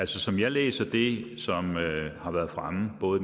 som jeg læser det som har været fremme både